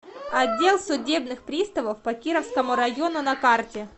отдел судебных приставов по кировскому району на карте